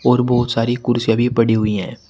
और बहोत सारी कुर्सियां भी पड़ी हुई हैं।